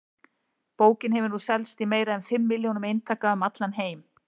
Bókin hefur nú selst í meira en fimm milljónum eintaka um allan heim.